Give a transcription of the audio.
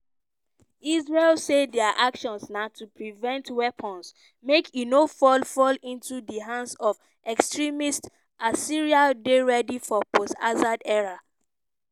israel say dia actions na to prevent weapons make e no fall fall "into di hands of extremists" as syria dey ready for post assad era.